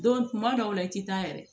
Don tuma dɔw la i tɛ taa yɛrɛ